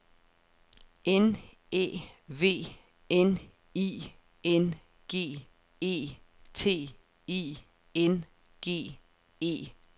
N Æ V N I N G E T I N G E T